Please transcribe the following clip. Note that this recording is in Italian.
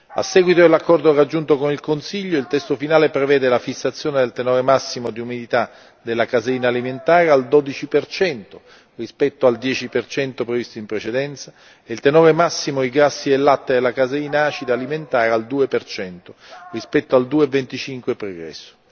A seguito dell'accordo conseguito con il Consiglio, il testo finale prevede la fissazione del tenore massimo di umidità della caseina alimentare al 12 per cento rispetto al 10 per cento previsto in precedenza, e il tenore massimo di grassi del latte della caseina acida alimentare al 2 per cento rispetto al 2,25 pregresso.